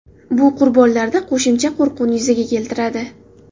Bu qurbonlarda qo‘shimcha qo‘rquvni yuzaga keltiradi.